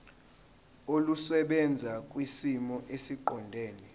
olusebenza kwisimo esiqondena